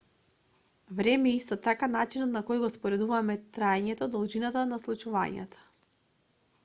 време е исто така начинот на кој го споредуваме траењето должината на случувањата